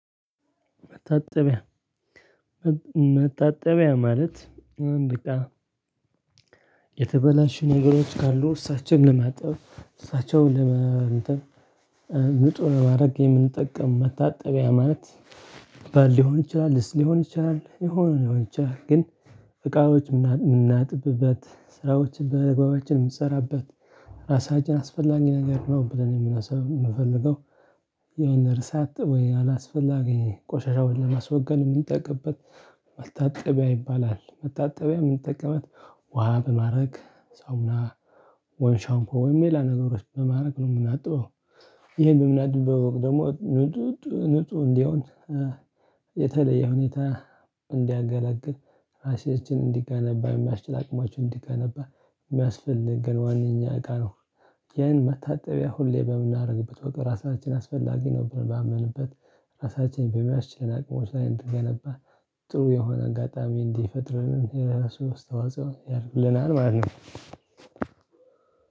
መታጠቢያ መታጠቢያ ማለት አንድ እቃ የተበላሹ ነገሮች ካሉ እነሱን ለማጣብ እነሱን ለመ እንትን ንጹህ ለማድረግ የምንጠቀምበት መታጠቢያ ማለት ባል ሊሆን ይችላል ሊስ ሊሆን ይችላል የሆነ ሊሆን ይችላል። ግን እቃዎች የምናጥብበት ስራዎችን በአደግባባችን የምትሰራበት ራሳችን አስፈላጊ ነገር ነው ብለን የምናስብ የምፈልገው። የሆነ ርሳት ዘ ወይ የሆነ አላስፈላጊ ቆሻሻውን ለማስወገድ የምንጠቅበት መታጠቢያ ይባላል መታጠቢያ የምንጠቅበት ውሃ በማድረግ ሳሙና ወይ ሻምፖ ወይም የላ ነገሮች በማድረግ ነው የምናጠበው ይሄ በምናደደው ደግሞ ንጹህ ንጹህ እንዲሆን የተለየ ሁኔታ እንዲያገላግል ራሴ እጅን እንዲገነባ የሚያስችል አቅማችን እንዲገነባ የሚያስፈልግን ዋናኛ እቃ ነው። ይህን መታጠቢያ ሁሌ በምናደርግበት ወቅት ራሳችን አስፈላጊ ነው ብሎ ባምነበት ራሳችንን በሚያስችለን አቅሞች ላይ እንትን ገነባ ጥሩ የሆነ አጋጣሚ እንዲፈጥረን የራሱን አስተዋጽኦ ያልኩልናል ማለት ነው።